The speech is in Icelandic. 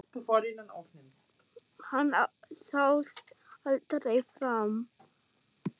Hann sást aldrei framar.